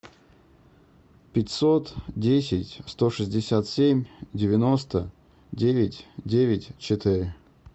пятьсот десять сто шестьдесят семь девяносто девять девять четыре